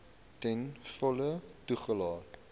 ten volle toegelaat